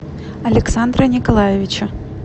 александра николаевича